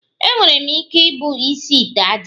Enwere m ike ibu isi ite ájá